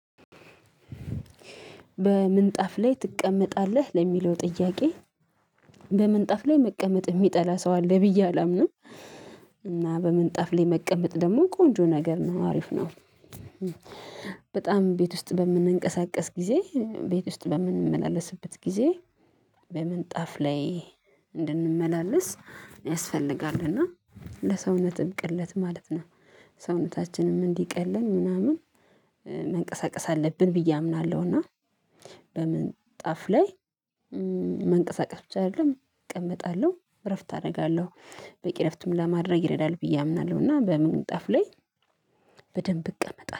በምንጣፍ ላይ ትቀመጣለህ ለሚለው ጥያቄ በምንጣፍ ላይ መቀመጥ ሚጠላ ሰው አለ ብዬ አላምንም። እና በምንጣፍ ላይ መቀመጥ ደግሞ ቆንጆ ነገር ነው አሪፍ ነው። በጣም ቤት ውስጥ በምንቀሳቀስ ጊዜ ቤት ውስጥ በምንመላለስበት ጊዜ። በምንጣፍ ላይ እንድንመላለስ ያስፈልጋል እና ለሰውነት ቅለት ማለት ነው። ሰውነታችንም እንዲቀለልን ምናምን መንቀሳቀስ አለብን ብዬ አምናለሁ። እና በምንጣፍ ላይ መንቀሳቀስ ብቻ አይደለም እቀመጣለሁ እረፍት አደርጋለሁ በቂ እረፍትም ለማድረግ ይረዳል ብዬ አምናለሁ። እና በምን ጠፍ ላይ በደንብ እቀመጣለሁ